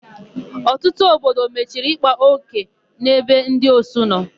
Ọtụtụ obodo mechiri ịkpa ókè n'ebe ndị osu nọ.